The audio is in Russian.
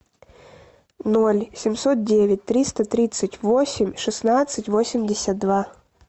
ноль семьсот девять триста тридцать восемь шестнадцать восемьдесят два